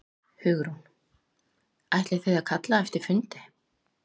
Hugrún: Ætlið þið að kalla eftir fundi?